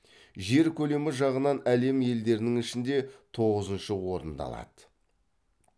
жер көлемі жағынан әлем елдерінің ішінде тоғызыншы орынды алады